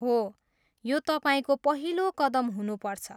हो, यो तपाईँको पहिलो कदम हुनुपर्छ।